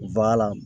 Ba la